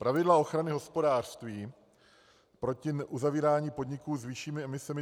Pravidla ochrany hospodářství proti uzavírání podniků s vyššími emisemi